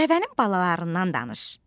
Dəvənin balalarından danış.